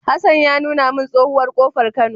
Hassan ya nuna min tsohuwar kofar Kano